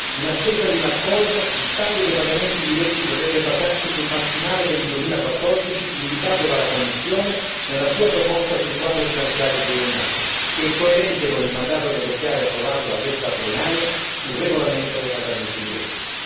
In attesa di un accordo, il taglio dei pagamenti diretti dovrebbe basarsi sul massimale per il 2014 indicato dalla Commissione nella sua proposta sul quadro finanziario pluriennale, che è coerente con il mandato negoziale approvato da questa plenaria sul regolamento dei pagamenti diretti.